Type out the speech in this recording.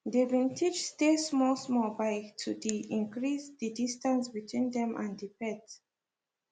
they been teach stay small small by to de increase the distance between them and the pet